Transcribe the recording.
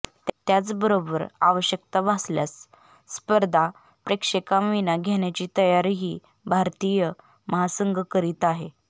त्याचबरोबर आवश्यकता भासल्यास स्पर्धा प्रेक्षकांविना घेण्याची तयारीही भारतीय महासंघ करीत आहे